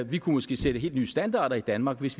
vi kunne måske sætte helt nye standarder i danmark hvis